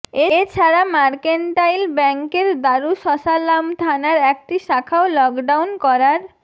এ ছাড়া মার্কেন্টাইল ব্যাংকের দারুসসালাম থানার একটি শাখাও লকডাউন করার